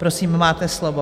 Prosím, máte slovo.